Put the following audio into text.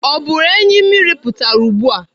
Ọ bụrụ enyi mmiri pụtara ugbu a?